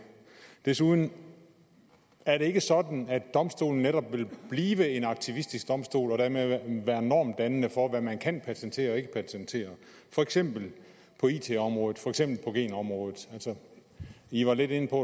desuden ikke sådan at domstolen netop vil blive en aktivistisk domstol og dermed være normdannende for hvad man kan patentere og ikke patentere for eksempel på it området for eksempel på genområdet i var lidt inde på